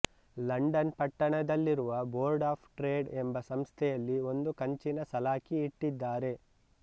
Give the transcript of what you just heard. London ಪಟ್ಟಣದಲ್ಲಿರುವ board of trade ಎಂಬ ಸಂಸ್ಥೆಯಲ್ಲಿ ಒಂದು ಕಂಚಿನ ಸಲಾಕಿ ಇಟ್ಟಿದ್ದಾರೆ